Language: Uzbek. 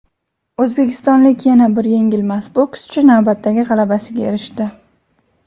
O‘zbekistonlik yana bir yengilmas bokschi navbatdagi g‘alabasiga erishdi.